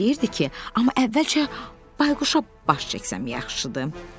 Pux deyirdi ki, amma əvvəlcə Bayquşa baş çəksəm yaxşıdır.